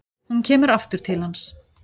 Hún kemur aftur til hans.